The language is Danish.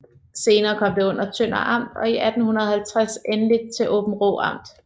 Senere kom det under Tønder Amt og i 1850 endelig til Aabenraa Amt